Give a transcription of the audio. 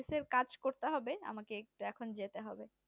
office এর কাজ করতে হবে আমাকে একটু এখন যেতে হবে